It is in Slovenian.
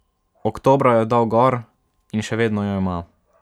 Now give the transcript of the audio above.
Oktobra jo je dal gor in še vedno jo ima.